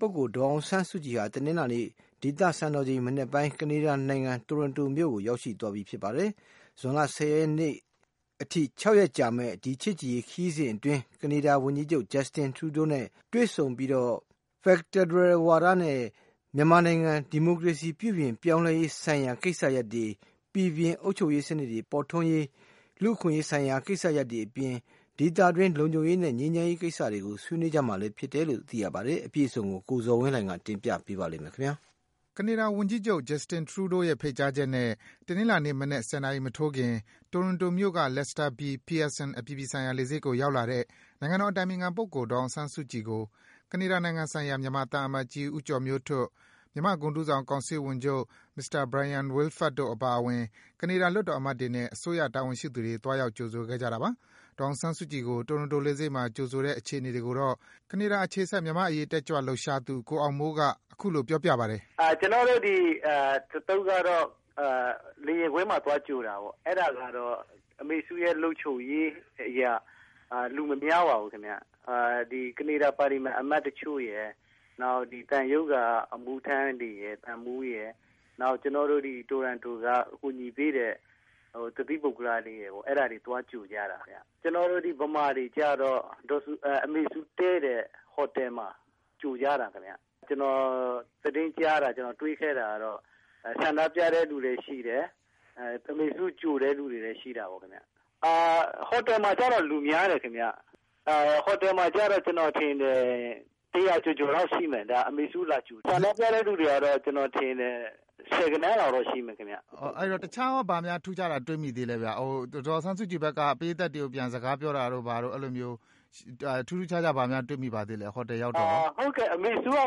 ပုဂ္ဂိုလ် ဒေါ်အောင်ဆန်းစုကြည်ဟာ တနင်္လာနေ့ ဒေသစံတော်ချိန် မနက်ပိုင်းက ကနေဒါနိုင်ငံ၊ Toronto မြို့ကို ရောက်ရှိသွားပါပြီ။ ဇွန်လ ၁၀ ရက်နေ့အထိ ၆ ရက်ကြာမယ့် ဒီ ချစ်ကြည်ရေး ခရီးစဉ်အတွင်း ကနေဒါ ဝန်ကြီးချုပ် Justin Trudeau နဲ့ တွေ့ဆုံပြီး ဖယ်ဒရယ် ဝါဒနဲ့ မြန်မာနိုင်ငံ ဒီမိုကရေစီ ပြုပြင် ပြောင်းလဲရေး ဆိုင်ရာ ကိစ္စရပ်တွေ၊ ပီပြင်တဲ့ အုပ်ချုပ်ရေးစံနစ် ပေါ်ထွန်းရေး၊ လူ့အခွင့်အရေး ဆိုင်ရာ ကိစ္စရပ်တွေအပြင် ဒေသတွင်း လုံခြုံရေးနဲ့ ငြိမ်းချမ်းရေး ကိစ္စတွေကိုလည်း ဆွေးနွေးမှာဖြစ်ပါတယ်။ အပြည့်အစုံကိုတော့ ကိုဇော်ဝင်းလှိုင်က တင်ပြပေးပါမယ်။ ကနေဒါဝန်ကြီးချုပ် Justin Trudeau ရဲ့ ဖိတ်ကြားချက်နဲ့ တနင်္လာနေ့ မနက် ၁၀ နာရီ မထိုးခင်က တိုရွန်တိုမြို့က Lester B. Pearson အပြည်ပြည်ဆိုင်ရာ လေဆိပ်ကို ဆိုက်ရောက်လာတဲ့ နိုင်ငံတော် အတိုင်ပင်ခံပုဂ္ဂိုလ် ဒေါ်အောင်ဆန်းစုကြည်ကို ကနေဒါနိုင်ငံဆိုင်ရာ မြန်မာသံအမတ်ကြီး ဦးကျော်မျိုးထွဋ်၊ မြန်မာဂုဏ်ထူးဆောင် ကောင်စစ်ဝန်ချုပ် Mr. Bryon Wilfert တို့ အပါအဝင် ကနေဒါ လွှတ်တော်အမတ်တွေနဲ့ အစိုးရတာဝန်ရှိသူတွေ သွားရောက် ကြိုဆိုခဲ့ကြပါတယ်။ ဒေါ်အောင်ဆန်းစုကြည်ကို တိုရွန်တို လေဆိပ်မှာ ကြိုဆိုတဲ့ အခြေအနေတွေကိုတော့ ကနေဒါအခြေစိုက် မြန်မာ့အရေး တက်ကြွလှုပ်ရှားသူ ကိုအောင်မိုးက အခုလို ပြောပြပါတယ်။ “ကျနော်တို့ အဖွဲ့ကတော့ လေယာဉ်ကွင်းမှာသွားကြိုတာပေါ့နော်၊ အဲဒါကတော့ အမေစုရဲ့လုံခြုံရေးအရ လူမများပါဘူး။ ကနေဒါ ပါလီမန်အမတ်တချို့ရယ် နောက်သံရုံးက အမှုထမ်း၊ သံမှူးတွေရယ် နောက်ကျနေ်ာတို့ တိုရွန်တိုက ကူညီပေးတဲ့ တသီးပုဂ္ဂလတွေရယ် အဲဒါတွေသွားပြီးတော့ သွားကြိုကြတာခင်ဗျ။ ကျနေ်ာတို့ မြန်မာတွေ ကတော့ အမေစုတည်းတဲ့ ဟိုတယ်မှာ ကြိုကြတာခင်ဗျ ကျနော်သတင်းကြားတာ တွေ့ခဲ့တာကတော့ ဆန္ဒပြတဲ့လူတွေလည်းရှိတယ်။ အမေစုကို ကြိုတဲ့လူတွေလည်းရှိတာပေါ့။ ဟိုတယ်မှာကျတော့ လူများတယ်ခင်ဗျ ကျနေ်ာထင်တယ် ၁၀၀ ကျော်လောက်ရှိမယ် ဒါက အမေစုကိုလာကြိုတယ်။ ဆန္ဒပြတဲ့လူတွေကျတော့ ၁၀ ဂဏန်းလောက်တော့ရှိမယ်ခင်ဗျ။ မေး။ ။ အဲဒီတော့ တခြားဘာများထူးခြားတာတွေ့မိသလဲခင်ဗျ ဒေါ်အောင်ဆန်းစုကြည်ဘက်က ပရိတ်သတ်တွေကို ပြန်စကားပြောတာတို့ ထူးထူးခြားခြားဘာများ တွေ့မိသလဲခင်ဗျ၊ ဟိုတယ်ရောက်တော့။ ဖြေ။ ။ အမေစုက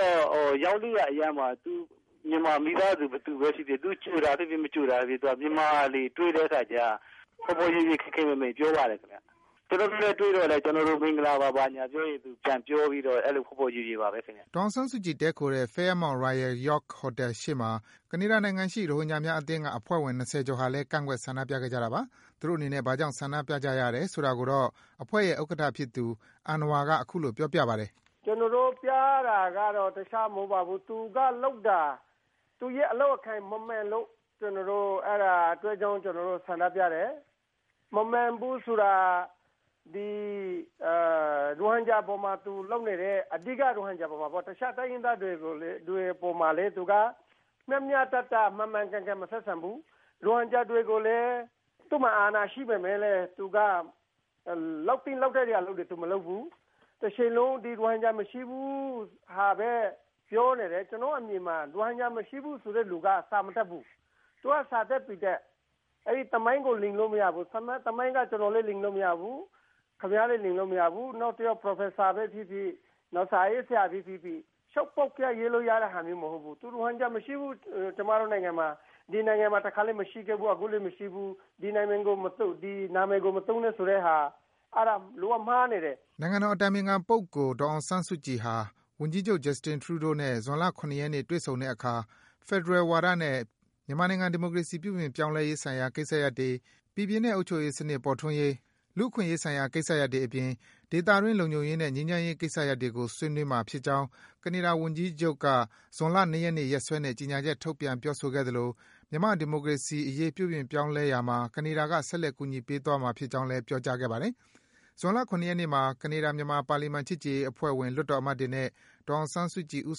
တော့ ရောက်တဲ့အရပ်မှာ မြန်မာမိသားစုဘယ်သူပဲဖြစ်ဖြစ် သူ့ကိုကြိုတာဖြစ်ဖြစ် မကြိုတာဖြစ်ဖြစ် သူက မြန်မာတွေတွေ့တဲ့အခါကျတော့ ဖော်ဖော်ရွယ်ရွယ်ခင်ခင်မင်မင် ပြောပါတယ်ခင်ဗျ။ ကျနော်တို့နဲ့ တွေ့တော့လည်း မင်္ဂလာပါ လို့ပြောရင် သူပြန်ပြောပြီးတော့ အဲဒီလို ဖော်ဖော်ရွယ်ရွယ်ပါပဲခင်ဗျ။” ဒေါ်အောင်ဆန်းစုကြည် တည်းခိုတဲ့ Fairmont Royal York ဟိုတယ်ရှေ့မှာ ကနေဒါနိုင်ငံရှိ ရိုဟင်ဂျာများအသင်းက အဖွဲ့ ၂၀ ကျော်ဟာလည်း ကန့်ကွက် ဆန္ဒပြခဲ့ကြတာပါ။ သူတို့အနေနဲ့ ဘာကြောင့် ဆန္ဒပြရတယ်ဆိုတာကိုတော့ အဖွဲ့ရဲ့ ဥက္ကဋ္ဌဖြစ်သူ အဏ္ဏဝါက အခုလို ပြောပြပါတယ်။ “ကျနော်တို့ပြတာကတော့ တခြားမဟုတ်ပါဘူး။ သူကလုပ်တာ သူ့အလုပ်အကိုင်မမှန်လို့ အဲဒီအတွက်ကြောင့်ကျနော်တို့ ဆန္ဒပြတယ်။ မမှန်ဘူးဆိုတာက အဓိက ရိုဟင်ဂျာအပေါ်မှာ လုပ်နေတဲ့ အပေါ်မှာပေါ့ တခြားတိုင်းရင်းသားတွေအပေါ်မှာလည်း သူက မျှမျှတတ မှန်မှန်ကန်ကန်မဆက်ဆံဘူး။ရိုဟင်ဂျာတွေကိုလည်း သူ့မှာအာဏာရှိပေမယ့်လည်း သူကလုပ်သင့်လုပ်ထိုက်တာတွေ သူမလုပ်ဘူး။ တချိန်လုံး ရိုဟင်ဂျာမရှိဘူး ဆိုတာပဲပြောနေတယ်။ ကျနေ်ာတို့ ဆီမှာ ရိုဟင်ဂျာမရှိဘူးဆိုတဲ့လူက စာမတတ်ဘူး။ သူက စာတတ်ပေတတ် ၊ အဲဒီသမိုင်းကို လိမ်လို့မရဘူး။ အဲဒီသမိုင်းက ကျနော်လည်းလိမ်လို့မရဘူး၊ ခင်ဗျားလည်းလိမ်လို့မရဘူး။ Professor ပဲဖြစ်ဖြစ်၊ စာရေးဆရာပဲဖြစ်ဖြစ် ပေါက်ကရရေးလို့ရတဲ့ဟာမျိုးမဟုတ်ဘူး။ ရိုဟင်ဂျာမရှိဘူး ကျမတို့နိုင်ငံမှာ ဟိုတုန်းကလည်းမရှိဘူး အခုလည်းမရှိခဲ့ဘူး၊ ဒီနာမည်ကိုမသုံးနဲ့ဆိုတဲ့ဟာ အဲဒါက လုံးဝမှားနေတယ်။” နိုင်ငံတော် အတိုင်ပင်ခံပုဂ္ဂိုလ် ဒေါ်အောင်ဆန်းစုကြည်ဟာ ဝန်ကြီးချုပ် Justin Trudeau နဲ့ ဇွန်လ ၇ ရက်နေ့ တွေ့ဆုံတဲ့အခါ ဖယ်ဒရယ် ဝါဒနဲ့ မြန်မာနိုင်ငံ ဒီမိုကရေစီ ပြုပြင်ပြောင်းလဲရေးဆိုင်ရာ ကိစ္စရပ်တွေ၊ ပီပြင်တဲ့ အုပ်ချုပ်ရေးစံနစ် ပေါ်ထွန်းရေး၊ လူ့အခွင့်အရေး ဆိုင်ရာ ကိစ္စရပ်တွေအပြင် ဒေသတွင်း လုံခြုံရေးနဲ့ ငြိမ်းချမ်းရေး ကိစ္စရပ်တွေကို ဆွေးနွေးမှာ ဖြစ်ကြောင်း ကနေဒါ ဝန်ကြီးချုပ်က ဇွန်လ ၂ ရက်နေ့ ရက်စွဲနဲ့ ကြေညာချက် ထုတ်ပြန်ပြောဆိုခဲ့သလို မြန်မာနိုင်ငံ ဒီမိုကရေစီရေး ပြုပြင်ပြောင်းလဲရာမှာ ကနေဒါက ဆက်လက်အကူညီပေး သွားမှာ ဖြစ်ကြောင်း ပြောကြားခဲ့ပါတယ်။ ဇွန်လ ၇ ရက်နေ့ညမှာ ကနေဒါ-မြန်မာ ပါလီမန် ချစ်ကြည်ရေးအဖွဲ့ဝင် လွှတ်တော်အမတ်တွေနဲ့ ဒေါ်အောင်ဆန်းစုကြည် ဦး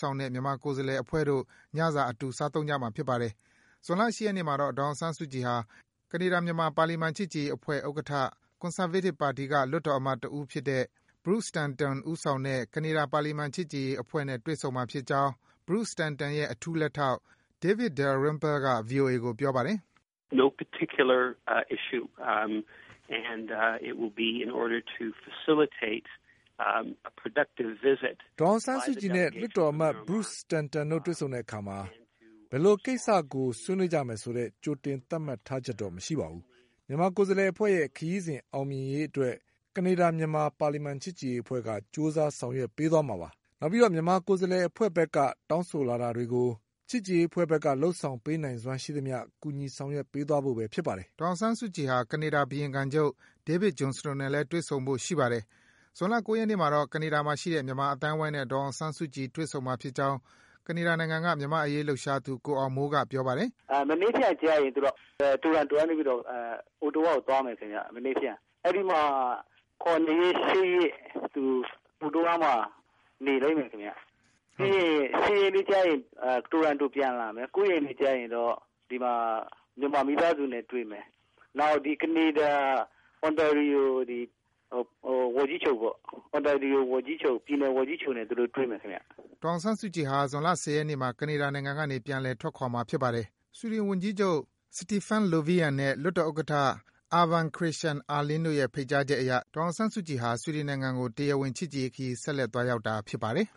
ဆောင်တဲ့ မြန်မာကိုယ်စားလှယ် အဖွဲ့တို့ ညစာ အတူ စားသုံးကြမှာ ဖြစ်ပါတယ်။ ဇွန်လ ၈ ရက်နေ့မှာတော့ ဒေါ်အောင်ဆန်းစုကြည်ဟာ ကနေဒါ-မြန်မာ ပါလီမန် ချစ်ကြည်ရေး အဖွဲ့ဥက္ကဋ္ဌ၊ ကွန်ဆာဗေးတစ်ပါတီက လွှတ်တော်အမတ် တဦးလည်းဖြစ်တဲ့ Bruce Stanton ဦးဆောင်တဲ့ ကနေဒါ ပါလီမန် ချစ်ကြည်ရေးအဖွဲ့နဲ့ တွေ့ဆုံမှာ ဖြစ်ကြောင်း Bruce Stanton ရဲ့ အထူးလက်ထောက် David Dalrymple က ဗွီအိုအေကို ပြောပါတယ်။ “ဒေါ်အောင်ဆန်းစုကြည်နဲ့ လွှတ်တော်အမတ် Bruce Stanton တို့ တွေ့ဆုံတဲ့အခါမှာ ဘယ်ကိစ္စကို ဆွေးနွေးကြမယ်ဆိုတဲ့ ကြိုတင် သတ်မှတ်ထားချက်တော့ မရှိပါဘူး။ မြန်မာကိုယ်စားလှယ်အဖွဲ့ရဲ့ ခရီးစဉ် အောင်မြင်ရေးအတွက် ကနေဒါ-မြန်မာ ပါလီမန် ချစ်ကြည်ရေးအဖွဲ့က ကြိုးစား ဆောင်ရွက်ပေးသွားမှာ ဖြစ်ပါတယ်။ နောက် မြန်မာကိုယ်စားလှယ် အဖွဲ့ဘက်က တောင်းဆိုလာတာတွေကို ကနေဒါ-မြန်မာ ပါလီမန် ချစ်ကြည်ရေးအဖွဲ့ဘက် လုပ်ဆောင်ပေးနိုင်စွမ်းရှိသမျှ ကူညီ ဆောင်ရွက်ပေးသွားဖို့ပဲ ဖြစ်ပါတယ်။” ဒေါ်အောင်ဆန်းစုကြည်ဟာ ကနေဒါဘုရင်ခံချုပ် David Johnston နဲ့ တွေ့ဆုံဖို့ရှိပါတယ်။ ဇွန်လ ၉ ရက်နေ့မှာတော့ ကနေဒါမှာရှိတဲ့ မြန်မာအသိုင်းဝိုင်းနဲ့ ဒေါ်အောင်ဆန်းစုကြည် တွေ့ဆုံမှာ ဖြစ်ကြောင်း ကနေဒါနိုင်ငံက မြန်မာ့အရေး လှုပ်ရှားသူ ကိုအောင်မိုးက ပြောပါတယ်။ “မနက်ဖြန်ကျရင် သူက Toronto ကနေပြီးတော့ Ottawa ကိုသွားမယ်ခင်ဗျ ။ အဲဒီမှာ ၇ရက် နဲ့ ၈ ရက် Ottawa မှာ နေလိမ့်မယ်ခင်ဗျ။ နောက်ပြီးတော့ ၈ ရက်နေ့ကျရင် တိုရန်တိုပြန်လာမယ်။ ၉ ရက်နေ့ကျရင်တော့ မြန်မာမိသားစုနဲ့တွေ့မယ်။ နောက်ကနေဒါ ပြန်နယ်ဝန်ကြီးချုပ် နဲ့ တွေ့မယ်ခင်ဗျ။” ဒေါ်အောင်ဆန်းစုကြည်ဟာ ဇွန်လ ၁၀ ရက်နေ့မှာ ကနေဒါနိုင်ငံကနေ ပြန်လည် ထွက်ခွာမှာ ဖြစ်ပါတယ်။ ဆွီဒင် ဝန်ကြီးချုပ် Stefan Löfven နဲ့ လွှတ်တော်ဥက္ကဌ Urban Christian Ahlin တို့ရဲ့ ဖိတ်ကြားချက်အရ ဒေါ်အောင်ဆန်းစုကြည်ဟာ ဆွီဒင်နိုင်ငံကို တရားဝင် ချစ်ကြည်ရေး ခရီး ဆက်လက် သွားရောက်တာ ဖြစ်ပါတယ်